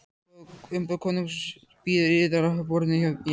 Umboð konungs bíður yðar á borðinu hjá mér.